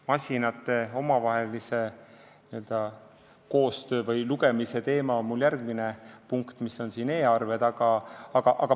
Masinate omavahelise n-ö koostöö või andmete lugemise teema on mul plaanis järgmises punktis, kus on kõne all e-arved.